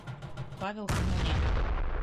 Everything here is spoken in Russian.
павел ханонян